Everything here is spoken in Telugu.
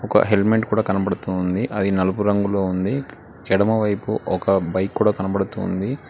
ఒక హెల్మెట్ కూడా కనబడుతూ ఉంది అది నలుపు రంగులో ఉంది ఎడమవైపు ఒక బైక్ కూడా ఒక హెల్మెట్ కూడా కనబడుతూ ఉంది.